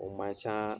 O man ca